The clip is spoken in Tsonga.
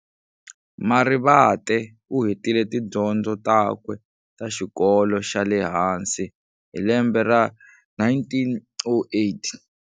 Marivate uhetile tidyondzo takwe ta xikolo xale hansi hi lembe ra 1908.